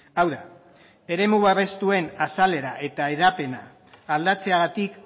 hau da eremu babestuen azalera eta hedapena aldatzeagatik